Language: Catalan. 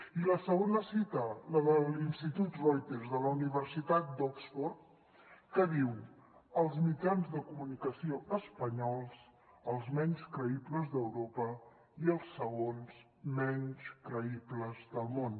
i la segona cita la de l’institut reuters de la universitat d’oxford que diu els mitjans de comunicació espanyols els menys creïbles d’europa i els segons menys creïbles del món